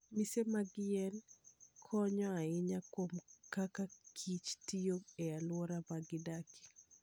Mise mag yien konyo ahinya kuom kaka kich tiyo e alwora ma gidakie.